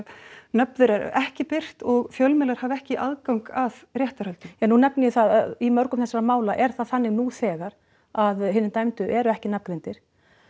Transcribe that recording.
nöfn þeirra eru ekki birt og fjölmiðlar hafa ekki aðgang að réttarhöldum ja nú nefni ég það að í mörgum þessara mála er það þannig nú þegar að hinir dæmdu eru ekki nafngreindir